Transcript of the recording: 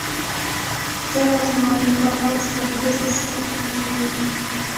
где можно арендовать поблизости автомобиль